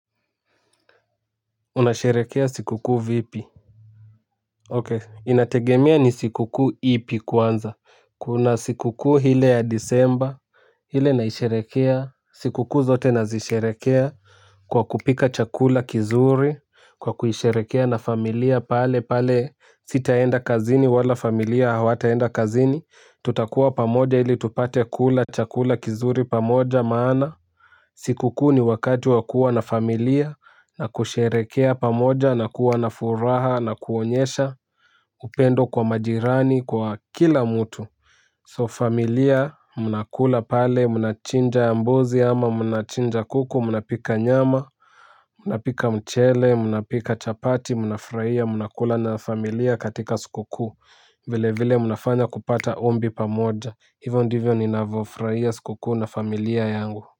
Unasherekea sikukuu vipi Okay inategemea ni sikukuu ipi kwanza. Kuna sikukuu ile ya disemba ile naisherekea sikukuu zote nazisherekea kwa kupika chakula kizuri. Kwa kuisherekea na familia palepale sitaenda kazini wala familia hawaataenda kazini tutakuwa pamoja ili tupate kula chakula kizuri pamoja maana sikukuu ni wakati wa kuwa na familia na kusherekea pamoja na kuwa na furaha na kuonyesha upendo kwa majirani kwa kila mtu So familia mnakula pale, mnachinja mbuzi ama, mnachinja kuku, mnapika nyama, mnapika mchele, mnapika chapati, mnafuraia, mnakula na familia katika siku kuu vile vile mnafanya kupata ombi pamoja. Hivyo ndivyo ninavofurahia siku kuu na familia yangu Muzika.